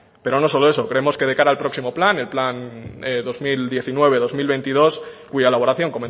pero no solo eso creemos que de cara al próximo plan el plan dos mil diecinueve dos mil veintidós cuya elaboración